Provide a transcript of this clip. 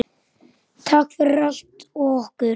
Takk fyrir allt og okkur.